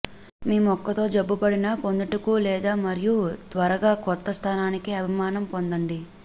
ఈ మొక్క తో జబ్బుపడిన పొందుటకు లేదు మరియు త్వరగా కొత్త స్థానానికి అభిమానం పొందండి